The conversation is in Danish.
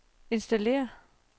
installér